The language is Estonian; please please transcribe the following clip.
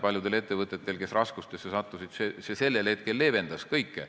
Paljudel ettevõtetel, kes raskustesse sattusid, see sellel hetkel leevendas kõike.